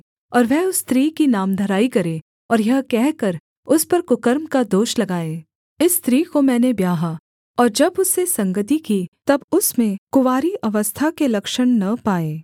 और वह उस स्त्री की नामधराई करे और यह कहकर उस पर कुकर्म का दोष लगाए इस स्त्री को मैंने ब्याहा और जब उससे संगति की तब उसमें कुँवारी अवस्था के लक्षण न पाए